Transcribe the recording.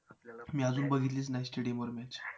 मी अजून बघितलीच नाही stadium वर match